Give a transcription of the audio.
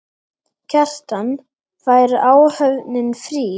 Kjartan: Fær áhöfnin frí?